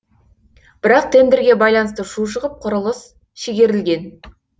бірақ тендерге байланысты шу шығып құрылыс шегерілген